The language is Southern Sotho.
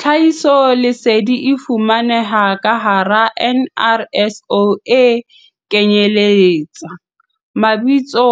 Tlhahisoleseding e fumanehang ka hara NRSO e kenyeletsa, Mabitso